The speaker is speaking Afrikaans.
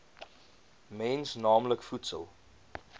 mens naamlik voedsel